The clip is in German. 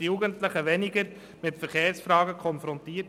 Die Jugendlichen sind dort weniger mit Verkehrsfragen konfrontiert.